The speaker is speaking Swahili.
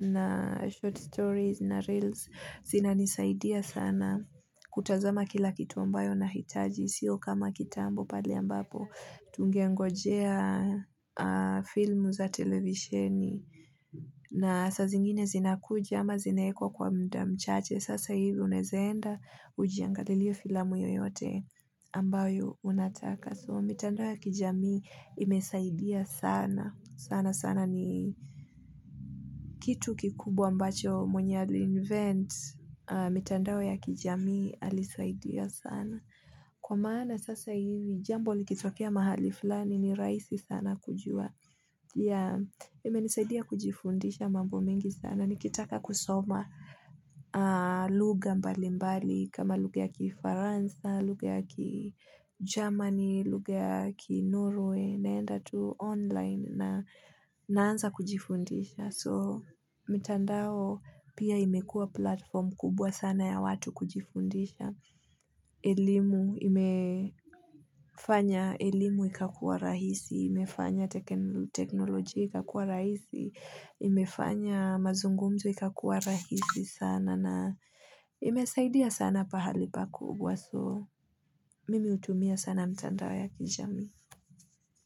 na short stories na reels zinanisaidia sana kutazama kila kitu ambayo nahitaji sio kama kitambo pale ambapo. Tungengojea filmu za televisheni na saa zingine zinakuja ama zinaekwa kwa mda mchache Sasa hivi unaeza enda ujiangalie iyo filamu yoyote ambayo unataka So mitandao ya kijami imesaidia sana sana sana. Kitu kikubwa ambacho mwenye ali invent mitandao ya kijami alisaidia sana Kwa maana sasa hivi jambo likitokea mahali fulani ni raisi sana kujua imenisaidia kujifundisha mambo mingi sana nikitaka kusoma lugha mbali mbali kama lugha ya ki Faransa lugha ya ki Germany luga ya ki Norway naenda tu online naanza kujifundisha so mtandao pia imekua platform kubwa sana ya watu kujifundisha imefanya elimu ikakua rahisi imefanya teknolojia ikakua rahizi imefanya mazungumzo ikakua rahisi sana na imesaidia sana pahali pa kubwa so mimi utumia sana mtandao ya kijamii.